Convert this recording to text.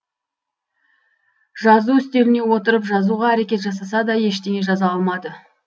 жазу үстеліне отырып жазуға әрекет жасаса да ештеңе жаза алмады